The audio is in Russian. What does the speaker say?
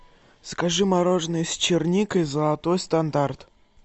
закажи мороженое с черникой золотой стандарт